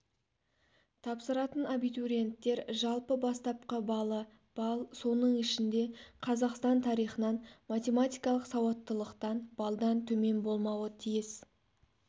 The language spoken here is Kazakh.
тапсыратын абитуриенттер жалпы бастапқы балы балл соның ішінде қазақстан тарихынан математикалық сауаттылықта балдан төмен болмауы тиіс